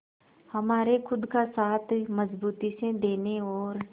हमारे खुद का साथ मजबूती से देने और